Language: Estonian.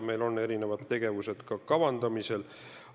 Meil on erinevad tegevused kavandamisel.